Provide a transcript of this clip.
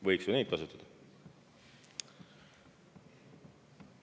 Võiks ju neid kasutada.